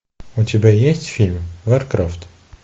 у тебя есть фильм варкрафт